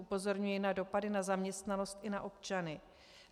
Upozorňuji na dopady na zaměstnanost i na občany.